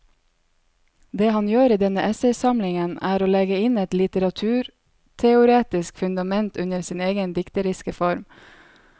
Det han gjør i denne essaysamlingen er å legge et litteraturteoretisk fundament under sin egen dikteriske form.